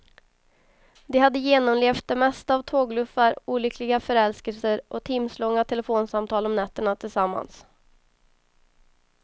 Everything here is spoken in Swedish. De hade genomlevt det mesta av tågluffar, olyckliga förälskelser och timslånga telefonsamtal om nätterna tillsammans.